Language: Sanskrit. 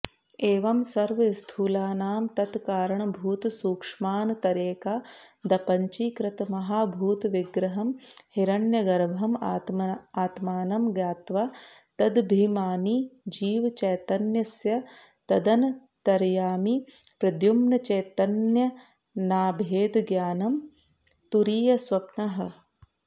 एवं सर्वस्थूलानां तत्कारणभूतसूक्ष्मानतरेकादपञ्चीकृतमहाभूतविग्रहं हिरण्यगर्भम् आत्मानं ज्ञात्वा तदभिमानिजीवचैतन्यस्य तदन्तर्यामिप्रद्युम्नचैतन्येनाभेदज्ञानं तुरीयस्वप्नः